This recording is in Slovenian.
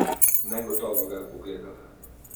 Negotovo ga je pogledala.